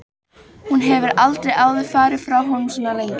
Hún hefur aldrei áður farið frá honum svona lengi.